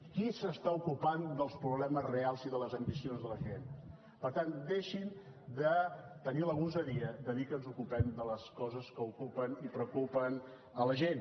qui s’ocupa dels problemes reals i de les ambicions de la gent per tant deixin de tenir la gosadia de dir que ens ocupem de les coses que ocupen i preocupen a la gent